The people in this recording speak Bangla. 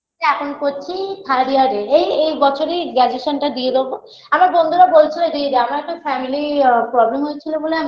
এখন করছি third year -এ এই এই বছরেই graduation -টা দিয়ে দেবো আমার বন্ধুরা বলছিলো দিয়ে দে আমার একটা family আ problem হয়েছিলো বলে আমি